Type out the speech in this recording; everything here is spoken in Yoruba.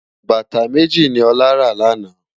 Bátá méji ni Ola rá làná